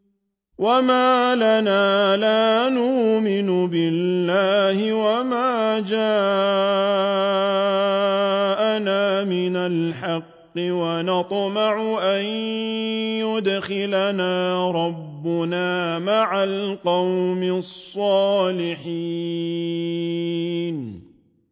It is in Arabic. وَمَا لَنَا لَا نُؤْمِنُ بِاللَّهِ وَمَا جَاءَنَا مِنَ الْحَقِّ وَنَطْمَعُ أَن يُدْخِلَنَا رَبُّنَا مَعَ الْقَوْمِ الصَّالِحِينَ